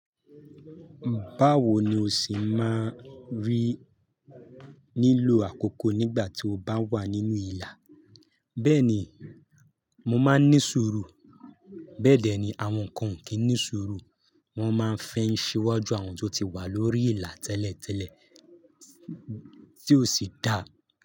Báwo ni o se máa rí nílò àkókò nígbà tí o bá wà nínú ìlà? Bẹ́ẹ̀ni, mo máa ń ní sùúrù. Bẹ́ẹ̀ dẹ́ ni àwọn kan ó kì í ní sùúrù, wọ́n máa fẹ́ ń ṣi wajú àwọn tó ti wà lórí ìlà tẹ́lẹ̀tẹ́lẹ̀ tí ó sì dà.